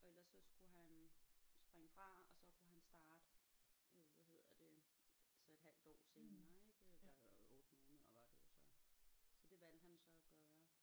Og ellers så skulle han springe fra og så kunne han starte øh hvad hedder det altså et halvt år senere ik øh eller 8 måneder var det jo så så det valgte han så at gøre